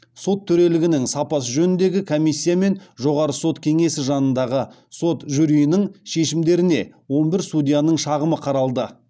сот төрелігінің сапасы жөніндегі комиссия мен жоғары сот кеңесі жанындағы сот жюриінің шешімдеріне он бір судьяның шағымы қаралды